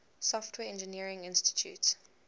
software engineering institute